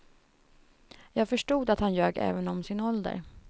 Jag förstod att han ljög även om sin ålder.